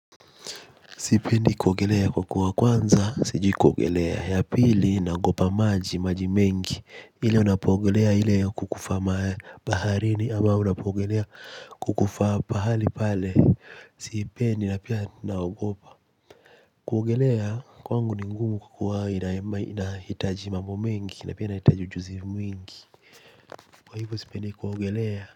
Sipendi kuogelea kwa kuwa kwanza, sijui kuogelea, ya pili naogopa maji, maji mengi. Ile unapoogelea, ili ya kukufaa baharini ama unapoogelea kukufaa pahali pale. Sipendi na pia naogopa. Kuogelea, kwangu ni ngumu kukua inahitaji mambo mengi, inahitaji ujuzi mwingi. Kwa hivo sipendi kuogelea.